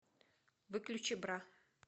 выключи бра